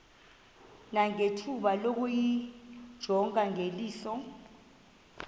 nangethuba lokuyijonga ngeliso